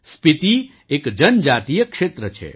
સ્પીતી એક જનજાતીય ક્ષેત્ર છે